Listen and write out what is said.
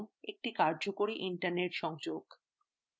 এবং একটি কর্যকরী internet সংযোগ